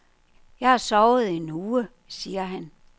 Jeg har sovet en uge, siger han.